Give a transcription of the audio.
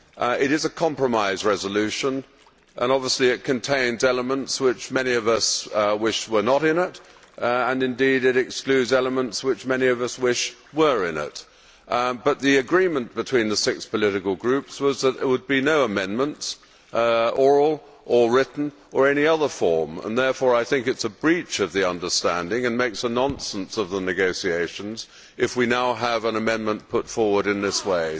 It is a compromise resolution and obviously it contains elements that many of us wish were not in it, and indeed it excludes elements that many of us wish were in it. But the agreement among the six political groups was that there would be no amendments oral, written or in any other form and therefore I think it is a breach of the understanding, and makes a nonsense of the negotiations, if we now have an amendment put forward in this way.